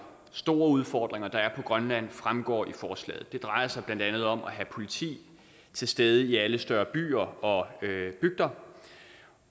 store udfordringer der er i grønland fremgår af forslaget det drejer sig blandt andet om at have politi til stede i alle større byer og bygder